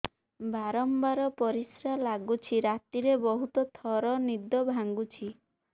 ବାରମ୍ବାର ପରିଶ୍ରା ଲାଗୁଚି ରାତିରେ ବହୁତ ଥର ନିଦ ଭାଙ୍ଗୁଛି